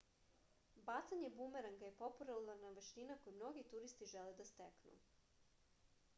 bacanje bumeranga je popularna veština koju mnogi turisti žele da steknu